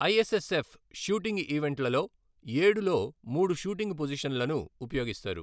ISSF shooting ఈవెంట్లలో, ఏడు లో మూడు షూటింగ్ పొజిషన్లను ఉపయోగిస్తారు.